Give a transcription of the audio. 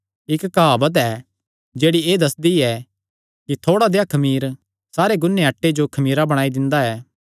इक्क काहवत ऐ जेह्ड़ी एह़ दस्सदी ऐ कि थोड़ा देह़या खमीर सारे गून्नेयो आटे जो खमीरा बणाई दिंदा ऐ